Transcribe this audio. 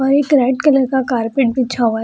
वहीं एक red colour का कारपेट बिछा हुआ है।